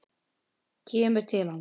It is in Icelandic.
Kemur til hans.